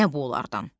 Nə bu onlardan?